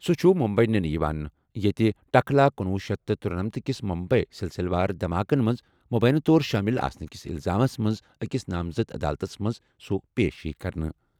سُہ چُھ مُمبی نِنہٕ یِوان، ییٚتہِ ٹکلا کنوہ شیتھ تہٕ ترٗنٔمتھ کِس مُمبیی سِلسِلہٕ وار دھماکَن منٛز مُبینہٕ طور شٲمِل آسنہٕ کِس اِلزامس منٛز أکِس نامزد عدالتَس منٛز سُہ پیش یِیہِ کرنہٕ۔